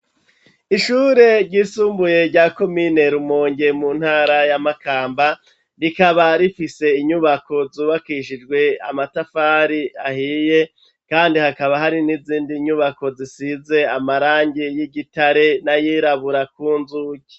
Ishure ry'isumbuye rya komine Rumonge mu ntara ya Makamba rikaba rifise inyubako zubakishijwe amatafari ahiye kandi hakaba hari n'izindi nyubako zisize amarangi y'igitare nayirabura kunzugi.